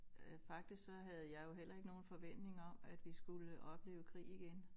Øh faktisk så havde jeg jo heller ikke nogen forventninger om at vi skulle opleve krig igen